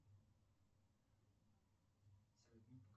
салют